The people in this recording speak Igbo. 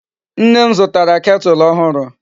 Nne m zutara kettle ohuru